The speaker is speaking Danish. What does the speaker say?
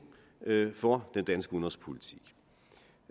for den danske udenrigspolitik